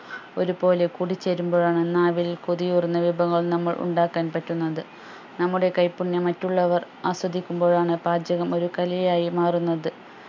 ഒരു പോലെ കൂടിച്ചേരുമ്പോഴാണ് നാവിൽ കൊതിയൂറുന്ന വിഭവങ്ങൾ നമ്മൾ ഉണ്ടാക്കാൻ പറ്റുന്നത് നമ്മുടെ കൈപ്പുണ്യം മറ്റുള്ളവർ ആസ്വദിക്കുമ്പോഴാണ് പാചകം ഒരു കലയായി മാറുന്നത്